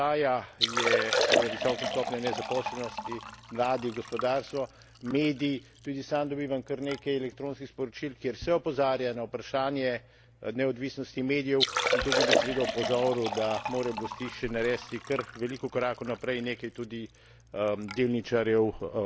Tisti problem, ki pa seveda ostaja, je seveda visoka stopnja nezaposlenosti, mladi, gospodarstvo, mediji. Tudi sam dobivam kar nekaj elektronskih sporočil, kjer se opozarja na vprašanje neodvisnosti medijev, in tukaj bi seveda opozoril, da morajo oblasti še naresti kar veliko korakov naprej.